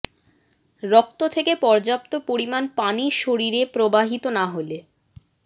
রক্ত থেকে পর্যাপ্ত পরিমাণ পানি শরীরে প্রবাহিত না হলে